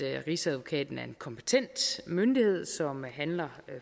rigsadvokaten er en kompetent myndighed som handler